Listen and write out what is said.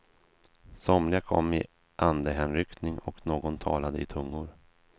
Somliga kom i andehänryckning och någon talade i tungor.